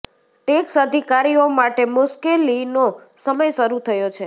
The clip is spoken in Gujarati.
ટેક્સ અધિકારીઓ માટે મુશ્કેલીનો સમય શરૂ થયો છે